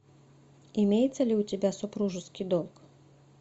имеется ли у тебя супружеский долг